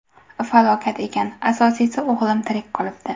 Falokat ekan, asosiysi, o‘g‘lim tirik qolibdi.